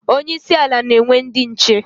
Onye isi ala na-enwe ndi nche